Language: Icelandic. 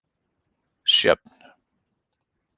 Sjöfn